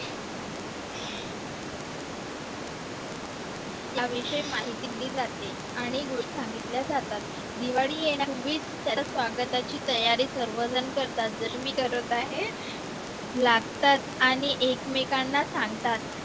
याविषयी माहिती दिली जाते आणि गोष्टी सांगितल्या जातात दिवाळी येण्यापूर्वीच त्याच्या स्वागताची सर्वजण करतात जसे मी करत आहे आणि एकमेकांना सांगतात